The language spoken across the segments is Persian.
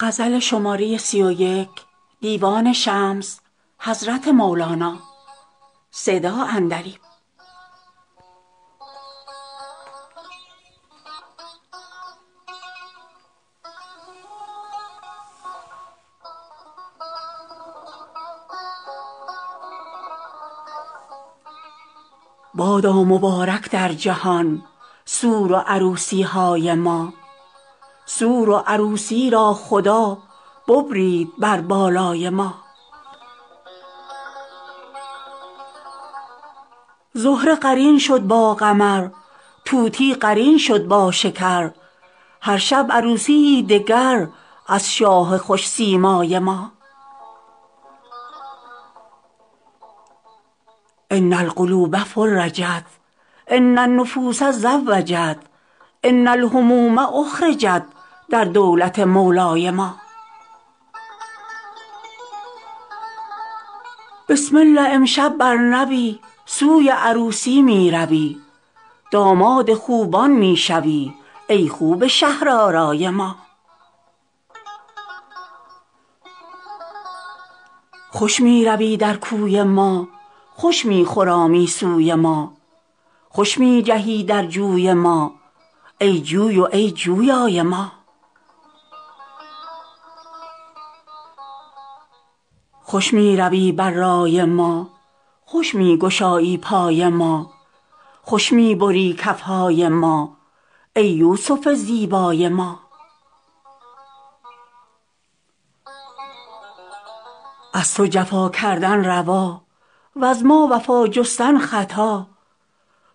بادا مبارک در جهان سور و عروسی های ما سور و عروسی را خدا ببرید بر بالای ما زهره قرین شد با قمر طوطی قرین شد با شکر هر شب عروسی یی دگر از شاه خوش سیمای ما ان القلوب فرجت ان النفوس زوجت ان الهموم اخرجت در دولت مولای ما بسم الله امشب بر نوی سوی عروسی می روی داماد خوبان می شوی ای خوب شهرآرای ما خوش می روی در کوی ما خوش می خرامی سوی ما خوش می جهی در جوی ما ای جوی و ای جویای ما خوش می روی بر رای ما خوش می گشایی پای ما خوش می بری کف های ما ای یوسف زیبای ما از تو جفا کردن روا وز ما وفا جستن خطا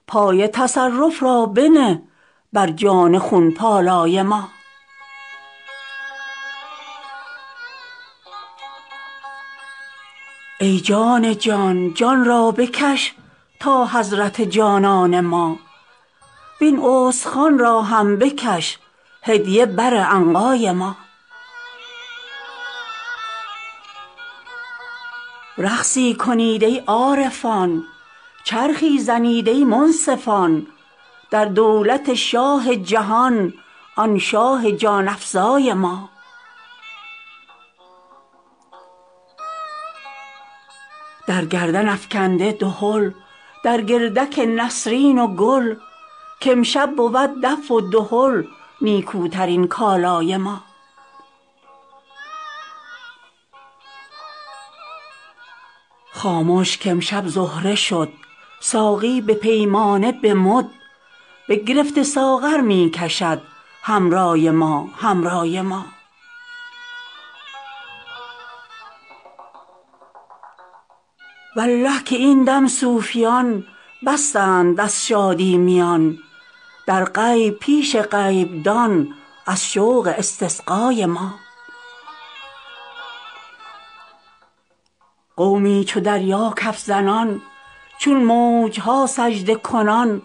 پای تصرف را بنه بر جان خون پالای ما ای جان جان جان را بکش تا حضرت جانان ما وین استخوان را هم بکش هدیه بر عنقای ما رقصی کنید ای عارفان چرخی زنید ای منصفان در دولت شاه جهان آن شاه جان افزای ما در گردن افکنده دهل در گردک نسرین و گل که امشب بود دف و دهل نیکوترین کالای ما خاموش که امشب زهره شد ساقی به پیمانه و به مد بگرفته ساغر می کشد حمرای ما حمرای ما والله که این دم صوفیان بستند از شادی میان در غیب پیش غیبدان از شوق استسقای ما قومی چو دریا کف زنان چون موج ها سجده کنان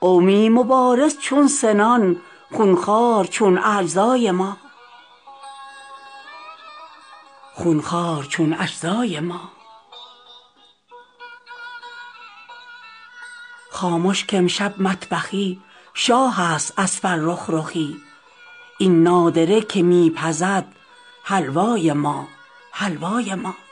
قومی مبارز چون سنان خون خوار چون اجزای ما خاموش که امشب مطبخی شاهست از فرخ رخی این نادره که می پزد حلوای ما حلوای ما